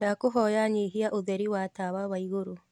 ndakũhoya nyĩhĩa utherĩ wa tawa wa iguru